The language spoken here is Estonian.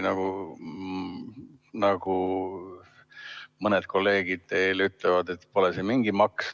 Mõni kolleeg ütleb, et pole see mingi maks.